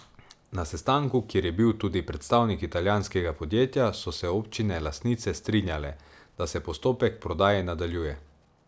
Na sestanku, kjer je bil tudi predstavnik italijanskega podjetja, so se občine lastnice strinjale, da se postopek prodaje nadaljuje.